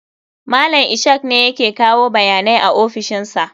Malam Ishak ne yake kawo bayanai a ofishin sa.